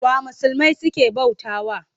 Wa musulmai suke bautawa?